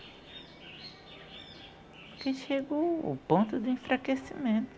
Porque chegou o ponto do enfraquecimento.